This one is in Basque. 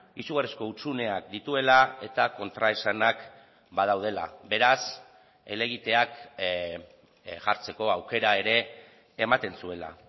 izugarrizko hutsuneak dituela eta kontraesanak badaudela beraz helegiteak jartzeko aukera ere ematen zuela